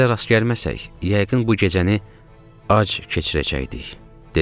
Sizə rast gəlməsək, yəqin bu gecəni ac keçirəcəkdik, dedim.